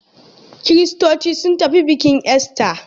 Kiristoci sun tafi bikin ister.